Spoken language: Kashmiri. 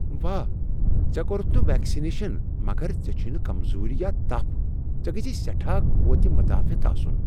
واہ! ژےٚ كورُتھ نہٕ ویكسِنیشن مگر ژےٚ چھوٚے نہٕ كمزوری یا تَپھ۔ ژےٚ گژھی سیٹھاہ قوت مدافعت آسُن!